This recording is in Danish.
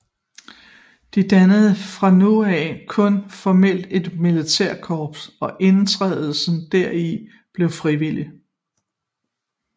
De dannede fra nu af kun formelt et militært korps og indtrædelsen deri blev frivillig